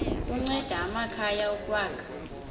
kunceda amakhaya ukwakha